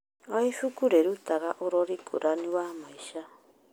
O ibuku rĩrutaga ũrori ngũrani wa maica.